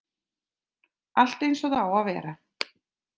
Allt eins og það á að vera.